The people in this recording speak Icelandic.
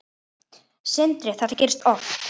Sindri: Þetta gerist oft?